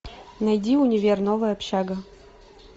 найди универ новая общага